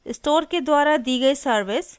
store के द्वारा दी गयी सर्विस